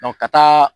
ka taa